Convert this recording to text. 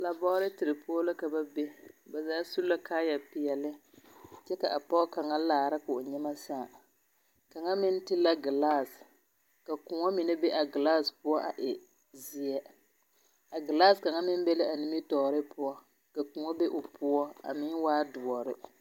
Labɔɔreter poɔ la ka ba be ba zaa su la kaayɛpeɛle kyɛ ka pɔɔ kaŋa laara ka o nyemɛ sãã kaŋa meŋ te la ɡelase ka kõɔ mine be a ɡelase poɔ a e zeɛ a ɡelase kaŋa meŋ be la a nimitɔɔre poɔ ka kõɔ be o poɔ a meŋ waa doɔre.